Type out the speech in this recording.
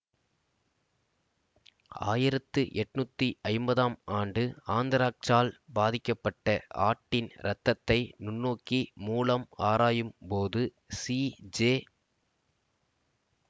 ஆயிரத்தி எண்ணூற்றி ஐம்பதாம் ஆண்டு ஆந்த்ராக்சால் பாதிக்கப்பட்ட ஆட்டின் இரத்தத்தை நுண்ணோக்கி மூலம் ஆராயும் போது சிஜெ